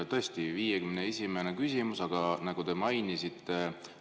Tõesti 51. küsimus, nagu te mainisite.